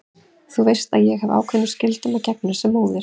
Þú veist að ég hef ákveðnum skyldum að gegna sem móðir.